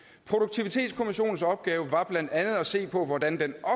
produktivitetskommissionens opgave var blandt andet at se på hvordan den